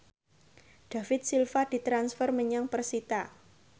David Silva ditransfer menyang persita